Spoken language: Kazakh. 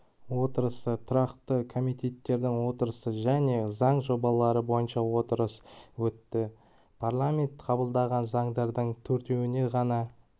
отырысы тұрақты комитеттердің отырысы және заң жобалары бойынша отырыс өтті парламент қабылдаған заңдардың төртеуіне ғана